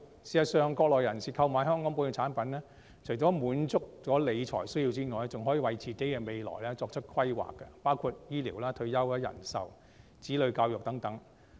事實上，國內人士購買本地產品，除了滿足理財需要之外，還可以為未來作出規劃，包括醫療、退休、人壽、子女教育等。